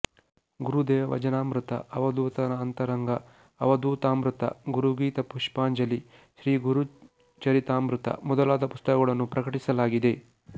ಗುರುದೇವ ಭಜನಾಮೃತ ಅವಧೂತನ ಅಂತರಂಗ ಅವಧೂತಾಮೃತ ಗುರುಗೀತಾ ಪುಷ್ಪಾಂಜಲಿ ಶ್ರೀ ಗುರುಚರಿತಾಮೃತ ಮೊದಲಾದ ಪುಸ್ತಕಗಳನ್ನು ಪ್ರಕಟಿಸಲಾಗಿದೆ